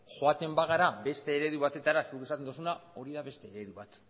joaten bagara beste eredu batetara zuk esaten duzuna hori da beste eredu bat